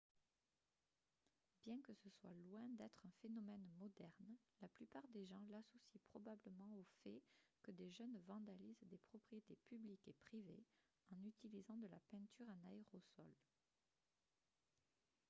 bien que ce soit loin d'être un phénomène moderne la plupart des gens l'associent probablement au fait que des jeunes vandalisent des propriétés publiques et privées en utilisant de la peinture en aérosol